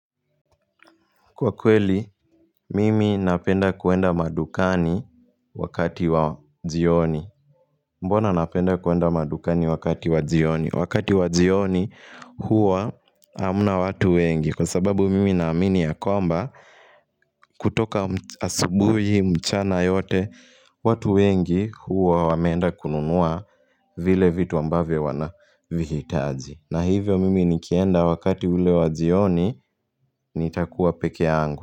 Kwa kweli, mimi napenda kuenda madukani wakati wa jioni. Mbona napenda kuenda madukani wakati wa jioni? Wakati wa jioni huwa hamna watu wengi Kwa sababu mimi naamini ya kwamba kutoka asubuhi mchana yote watu wengi huwa wameenda kununua vile vitu ambavyo wanavihitaji. Na hivyo mimi nikienda wakati ule wa jioni nitakuwa pekee yangu.